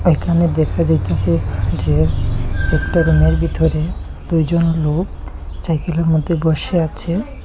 এখানে দেখা যাইতাসে যে একটা রুম -এর বিতরে দুইজন লোক ছাইকেল -এর মদ্যে বসে আছে।